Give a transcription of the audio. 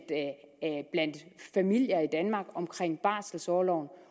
familier i danmark om barselorloven